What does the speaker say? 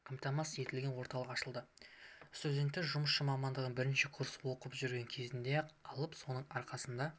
қамтамасыз етілген орталық ашылды студенттер жұмысшы мамандығын бірінші курста оқып жүрген кезінде-ақ алып соның арқасында